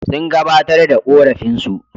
Sun gabatar da ƙorafinsu.